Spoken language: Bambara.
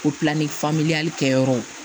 Ko pilafan kɛyɔrɔw